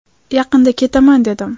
Yaqinda ketaman dedim.